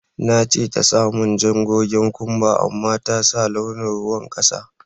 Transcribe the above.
Na ce ta sa mun jan gogen kumba amma ta sa launin ruwan kasa.